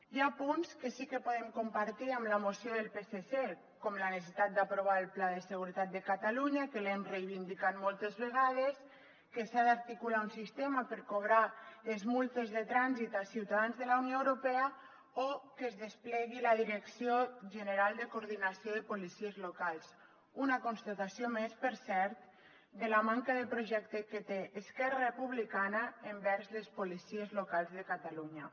hi ha punts que sí que podem compartir en la moció del psc com la necessitat d’aprovar el pla de seguretat de catalunya que l’hem reivindicat moltes vegades que s’ha d’articular un sistema per cobrar les multes de trànsit a ciutadans de la unió europea o que es desplegui la direcció general de coordinació de les policies locals una constatació més per cert de la manca de projecte que té esquerra republicana envers les policies locals de catalunya